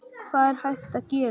Hvað er hægt að gera?